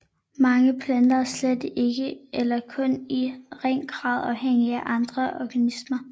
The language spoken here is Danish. Mange planter er slet ikke eller kun i ringe grad afhængige af andre organismer